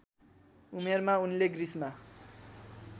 उमेरमा उनले ग्रिसमा